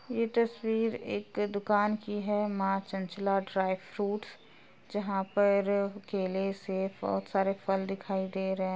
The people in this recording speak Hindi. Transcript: ये तस्वीर एक दुकान कि है मा चंचला ड्राइ फ्रूट्स जहाॅं पर केले सेब बोहोत सारे फल दिखाई दे रहे --